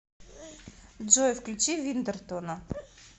джой включи виндертона